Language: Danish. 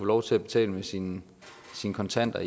lov til at betale med sine kontanter